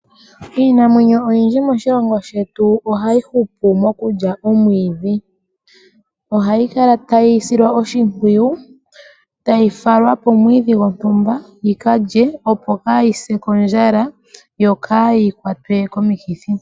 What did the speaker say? Iinamwenyo oyindji moshilongo shetu oha yi hupu mokulya omwiidhi. Ohayi kala tayi silwa oshimpwiyu, ta yi falwa pomwiidhi gwontumba yi ka lye opo kaa yi se kondjala yo kaa yi kwatwe komikithi.